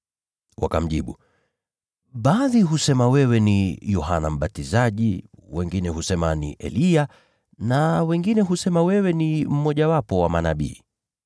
Wakamjibu, “Baadhi husema wewe ni Yohana Mbatizaji, wengine husema ni Eliya, na bado wengine husema wewe ni mmojawapo wa manabii.”